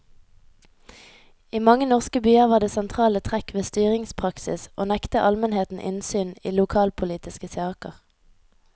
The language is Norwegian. I mange norske byer var det sentrale trekk ved styringspraksis å nekte almenheten innsyn i lokalpolitiske saker.